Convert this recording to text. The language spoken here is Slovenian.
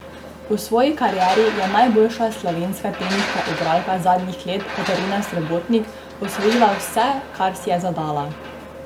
V svoji karieri je najboljša slovenska teniška igralka zadnjih let Katarina Srebotnik osvojila vse, kar si je zadala.